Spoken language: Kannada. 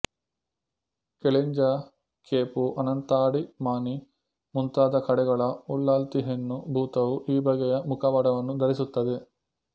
ಕೆಲಿಂಜ ಕೇಪು ಅನಂತಾಡಿ ಮಾಣಿ ಮುಂತಾದ ಕಡೆಗಳ ಉಳ್ಳಲ್ತಿ ಹೆಣ್ಣು ಭೂತವು ಈ ಬಗೆಯ ಮುಖವಾಡವನ್ನು ಧರಿಸುತ್ತದೆ